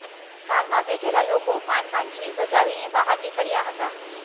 કારમાં બેઠેલા લોકો માંડમાંડ જીવ બચાવીને બહાર નીકળ્યાં હતાં